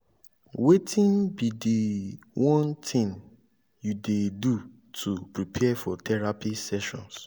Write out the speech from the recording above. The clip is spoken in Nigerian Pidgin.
wetin be di one thing you dey do to prepare for therapy sessions?